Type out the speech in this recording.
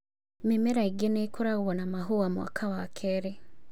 Mĩmera ĩngĩ nĩ ĩkoragwo na mahũa mwaka wa kerĩ